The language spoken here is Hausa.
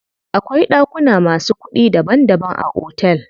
Akwai ɗakuna masu kuɗi daban daban a otel.